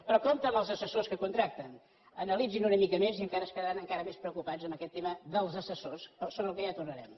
però compte amb els assessors que contracten analitzin una mica més i encara es quedaran encara més preocupats amb aquest tema dels assessors sobre el qual ja tornarem